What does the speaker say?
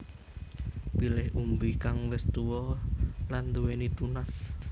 Pilih umbi kang wis tuwa lan nduwéni tunas